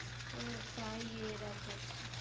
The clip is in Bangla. হ্যাঁ তাই এরা করছে